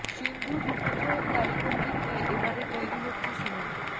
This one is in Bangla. সিন্ধুর রূপো জয়ের কারিগরকে নিয়ে এবারে তৈরি হচ্ছে সিনেমা